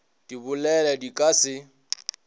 di bolele di ka se